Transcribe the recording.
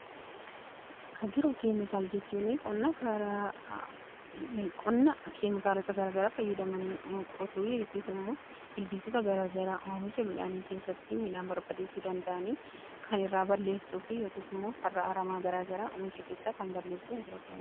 Agiroo keemikaala jechuuni qonna keemikaalota garaagara fayyadamanii qotuu yookiis immoo ilbiisota garagaraa oomisha midhaanii keessatti midhaan barbadeessuu danda'anii kan irraa balleessuu fi yookiis immoo farra aramaa garaagaraa oomisha keessaa kan balleessuu hagiroo keemikaala jedhama.